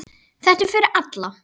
Þetta er fyrir alla.